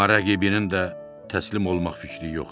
Amma rəqibinin də təslim olmaq fikri yox idi.